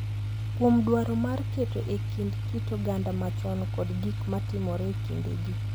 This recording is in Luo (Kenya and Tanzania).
Kuom dwaro mar keto e kind kit oganda machon kod gik ma timore e kindegi.